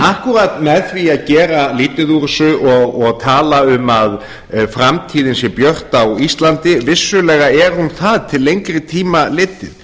akkúrat með því að gera lítið úr þessu og tala um að framtíðin sé björt á íslandi vissulega er hún það til lengri tíma litið